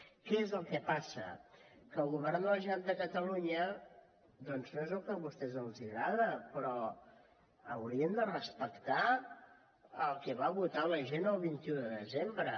què és el que passa que el govern de la generalitat de catalunya doncs no és el que a vostès els agrada però haurien de respectar el que va votar la gent el vint un de desembre